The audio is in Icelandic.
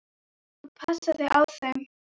Þú passar þig á þeim.